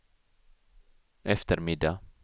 eftermiddag